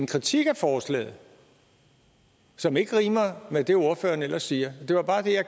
kritik af forslaget som ikke rimer med det ordføreren ellers siger